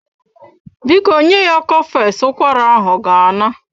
Biko nye ya cofex, ụkwara ahụ ga-ana.